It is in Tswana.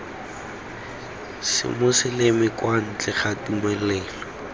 semoseleme kwa ntle ga tumelelo